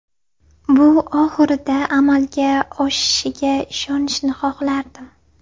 Bu oxirida amalga oshishiga ishonishni xohlardim.